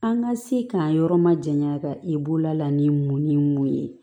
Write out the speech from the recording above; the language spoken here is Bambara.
An ka se k'an yɔrɔ ma janya ka i bolola ni mun ni mun ye